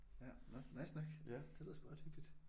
Ja nåh nice nok det lyder sgu ret hyggeligt